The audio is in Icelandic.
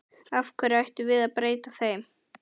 Af hverju ættum við að breyta þeim?